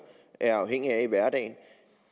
er afhængige af i hverdagen